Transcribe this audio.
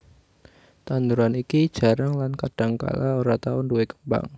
Tanduran iki jarang lan kadangkala ora tau nduwé kembang